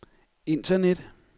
internet